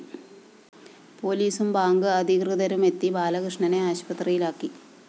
പോലീസും ബാങ്ക്‌ അധികൃതരുമെത്തി ബാലകൃഷ്ണനെ ആശുപത്രിയിലാക്കി